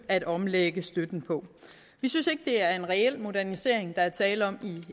at omlægge støtten på vi synes ikke at det er en reel modernisering der er tale om i